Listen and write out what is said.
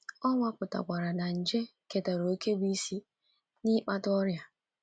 Ọ nwapụtakwara na nje ketara òkè bụ́ isi n’ịkpata ọrịa.